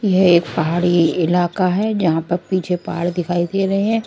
यह एक पहाड़ी इलाका है जहां पर पीछे पहाड़ दिखाई दे रहे हैं।